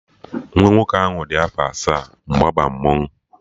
Nwa nwoke ahụ dị afọ asaa mgbe ọ ba mmanwụ